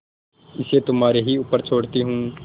इसे तुम्हारे ही ऊपर छोड़ती हूँ